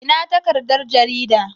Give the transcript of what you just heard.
Ina takardar garida?